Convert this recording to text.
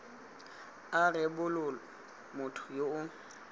a rebolwa motho yo o